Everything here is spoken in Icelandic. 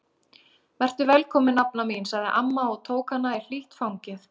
Vertu velkomin nafna mín sagði amma og tók hana í hlýtt fangið.